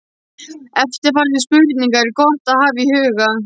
Eftirfarandi spurningar er gott að hafa í huga